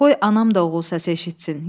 Qoy anam da oğul səsi eşitsin.